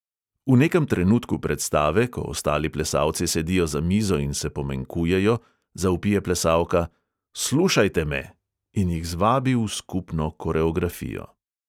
V nekem trenutku predstave, ko ostali plesalci sedijo za mizo in se pomenkujejo, zavpije plesalka: slušajte me! in jih zvabi v skupno koreografijo.